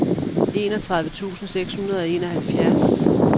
enogtredive tusind seks hundrede og enoghalvfjerds